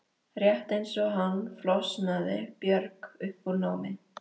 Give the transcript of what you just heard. Rétt eins og hann flosnaði Björg upp úr námi.